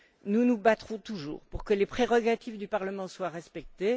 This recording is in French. Nous nous battrons toujours pour que les prérogatives du Parlement soient respectées.